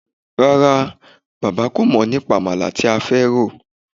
Rárá, bàbá kò mọ̀ nípa àmàlà tí a fẹ́ rò